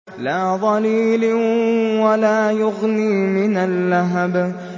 لَّا ظَلِيلٍ وَلَا يُغْنِي مِنَ اللَّهَبِ